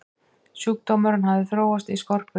sjúkdómurinn hafði þróast í skorpulifur